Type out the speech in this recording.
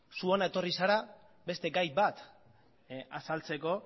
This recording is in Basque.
zu hona etorri zara beste gai bat azaltzeko